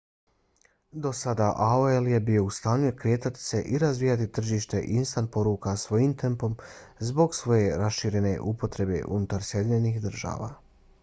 do sada aol je bio u stanju kretati se i razvijati tržište instant poruka svojim tempom zbog svoje raširene upotrebe unutar sjedinjenih država